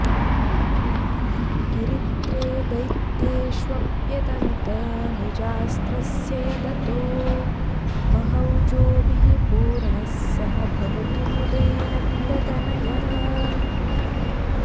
गिरित्रे दैत्येष्वप्यतनुत निजास्त्रस्य यदतो महौजोभिः पूर्णः स भवतु मुदे नन्दतनयः